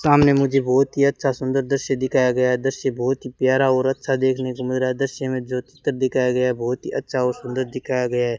सामने मुझे बहुत ही अच्छा सुंदर दृश्य दिखाया गया दृश्य बहुत ही प्यारा और अच्छा देखने को मेरा दृश्य में जो चित्र दिखाया गया बहुत ही अच्छा और सुंदर दिखाया गया --